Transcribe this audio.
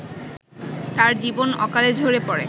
তার জীবন অকালে ঝরে পড়ে